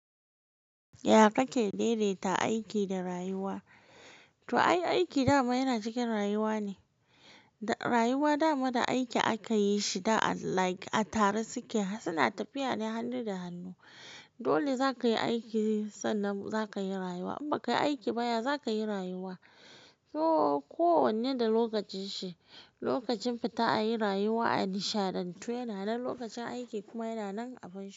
Ya kake daidaita aiki da rayuwa? To ai, aiki dama yana cikin rayuwa ne. Rayuwa dama da aiki aka yi shi like a tare su ke, suna tafiya ne hannu da hannu. Dole za ka yi aiki sannan za ka yi rayuwa. In ba ka yi aiki baya, za ka yi rayuwa. So, kowanne da lokacin shi. Lokacin fita a yi rayuwa, adishia da ntuwo yana nan, lokacin aiki kuma yana nan a baya.